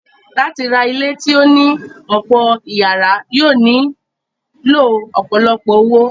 Láti ra ilé tí ó ní ọ̀pọ̀ ìyàrá yóò nílò ọ̀pọ̀lọpọ̀ owó.